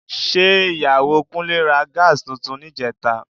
Ṣé Ìyàwó Kúnlé ra Gas tuntun níjẹta?